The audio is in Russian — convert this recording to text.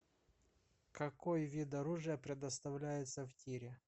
какой вид оружия предоставляется в тире